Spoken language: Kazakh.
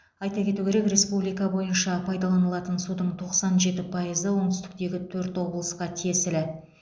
айта кету керек республика бойынша пайдаланылатын судың тоқсан жеті пайызы оңтүстіктегі төрт облысқа тиесілі